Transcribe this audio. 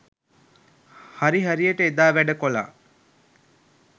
හරි හරියට එදා වැඩ කොලා.